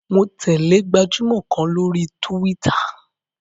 Mo tẹ̀lẹ́ gbajúmọ̀ kan lórí túwítà